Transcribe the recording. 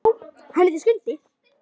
Já, hann heitir Skundi.